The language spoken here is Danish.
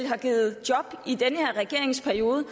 har givet job i den her regerings periode